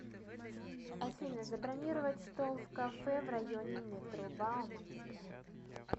афина забронировать стол в кафе в районе метро бауманская